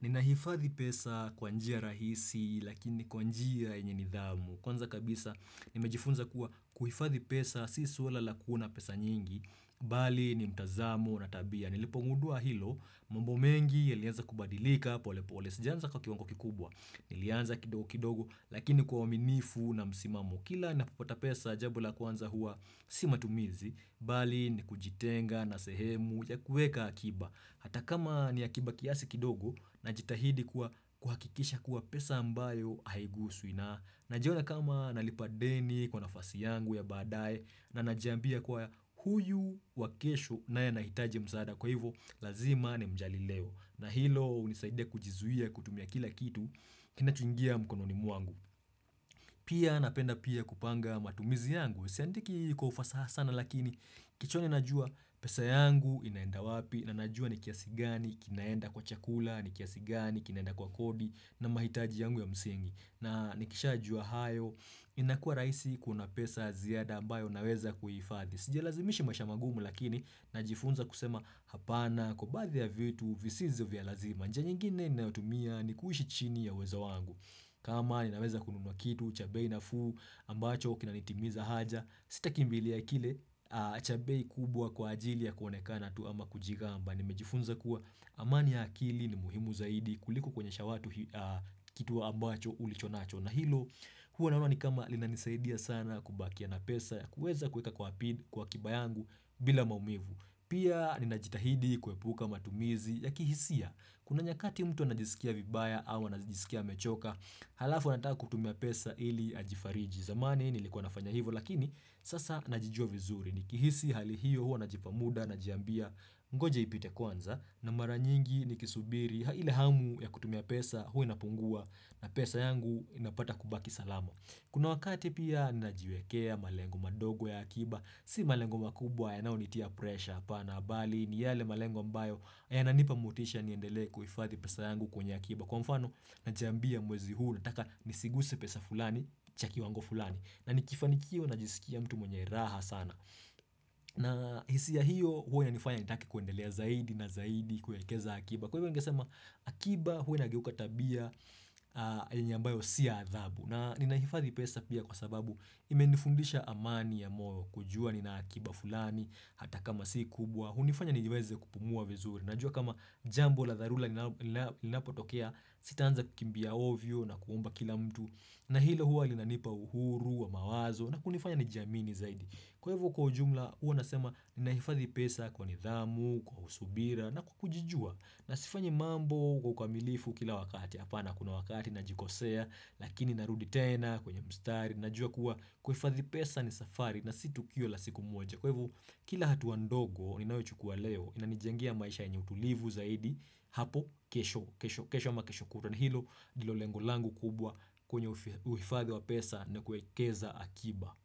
Nina hifadhi pesa kwanjia rahisi lakini kwa njia yenye nidhamu. Kwanza kabisa nimejifunza kuwa kuhifadhi pesa, si swala lakuwa pesa nyingi, bali ni mtazamo na tabia. Nilipo ngudua hilo, mambomengi ya lianza kubadilika, pole pole, sijanza kwa kiwango kikubwa. Nilianza kidogo kidogo, lakini kwa uaminifu na msimamo kila na popata pesa jambo la kwanza hua si matumizi, bali ni kujitenga na sehemu ya kuweka akiba. Hata kama ni akiba kiasi kidogo, najitahidi kwa kuhakikisha kuwa pesa ambayo haiguswi na. Najiona kama nalipa deni kwa nafasi yangu ya badaye na najiambia kwa huyu wakesho na ya nahitaje msaada kwa hivo lazima ni mjali leo. Na hilo hunisaide kujizuia kutumia kila kitu kinachungia mkono ni mwangu. Pia napenda pia kupanga matumizi yangu. Siandiki kwa ufasaha sana lakini kichwani najua pesa yangu inaenda wapi na najua nikiasigani kinaenda kwa chakula, nikiasigani kinaenda kwa kodi na mahitaji yangu ya msingi. Na nikishajua hayo inakua rahisi kuona pesa ziada ambayo unaweza kuhifadhi Sijalazimishi maisha magumu lakini na jifunza kusema hapana kwa baadhi ya vitu visizo vialazima njia nyingine ni naotumia ni kuhishi chini ya uwezo wangu kama ni naweza kununwa kitu chabei nafuu ambacho kina nitimiza haja Sitakimbili akile chabei kubwa kwa ajili ya kuonekana tu ama kujigamba nimejifunza kuwa amania akili ni muhimu zaidi kuliku kuonye sha watu kituwa ambacho ulichonacho na hilo huwa naona ni kama linanisaidia sana kubakia na pesa ya kuweza kuweka kwa akiba yangu bila maumivu pia ni najitahidi kuepuka matumizi ya kihisia kuna nyakati mtu anajisikia vibaya au anajisikia mechoka halafu nataku kutumia pesa ili ajifariji zamani nilikuwa nafanya hivo lakini sasa najijua vizuri Nikihisi hali hiyo huo na jipamuda na jiambia mgoje ipite kwanza na mara nyingi nikisubiri hile hamu ya kutumia pesa hui napungua na pesa yangu inapata kubaki salama. Kuna wakati pia na jiwekea malengo madogo ya akiba. Si malengo makubwa ya nao nitia pressure hapa na bali ni yale malengo ambayo ya na nipamutisha niendelee kuhifadhi pesa yangu kwenye akiba. Kwa mfano na jiambia mwezi huu na taka nisiguse pesa fulani chaki kiwango fulani na nikifanikio na jisikia mtu mwenye raha sana. Na hisia hiyo huwa ina nifanya nitake kuendelea zaidi na zaidi kuwekeza akiba. Kwa hivyo ningesema akiba huwa na inageuka tabia ambayo siyo ya adhabu. Na ninahifadhi pesa pia kwa sababu imenifundisha amani ya moyo kujua ni na akiba fulani hata kama si kubwa. Hunifanya niweze kupumua vizuri Najua kama jambo la dharura Ninapo tokea sitaanza kukimbia ovyo na kuomba kila mtu na hilo huwa linanipa uhuru wa mawazo na kunifanya ni jiamini zaidi Kwa hivo kwa ujumla huwa nasema Ninahifadhi pesa kwa nidhamu Kwa subira na kujijua Nasifanyi mambo kwa ukamilifu kila wakati Hapana kuna wakati na jikosea Lakini narudi tena kwenye mstari Najua kuwa kuhifadhi pesa ni safari na situkio la siku moja Kwa hivo kila hatua ndogo ninayo chukua leo inanijengia maisha yenye utulivu zaidi hapo kesho kesho ama kesho kutwa ni hilo ndilo lengolangu kubwa kwenye uhifadhi wa pesa ne kuekeza akiba.